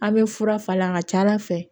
A' bɛ fura falen a ka ca ala fɛ